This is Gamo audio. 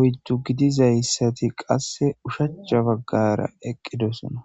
oydu gididaydati qase ushshacha bagara eqidosana.